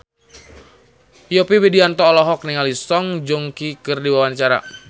Yovie Widianto olohok ningali Song Joong Ki keur diwawancara